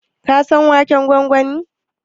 Ka san waken gwangwani?